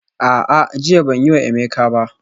A'a, jiya ban yi wa Emeka ba